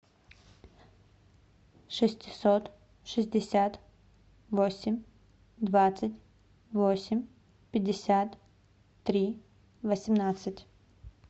шестьсот шестьдесят восемь двадцать восемь пятьдесят три восемнадцать